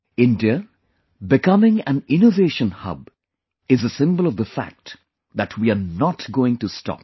India, becoming an Innovation Hub is a symbol of the fact that we are not going to stop